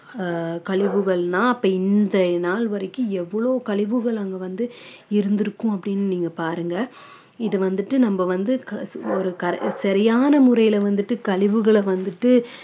ஆஹ் கழிவுகள்னா அப்ப இந்த நாள் வரைக்கும் எவ்வளவு கழிவுகள் அங்க வந்து இருந்திருக்கும் அப்படின்னு நீங்க பாருங்க இதை வந்துட்டு நம்ம வந்து க~ ஒரு சரியான முறையில வந்துட்டு கழிவுகளை வந்துட்டு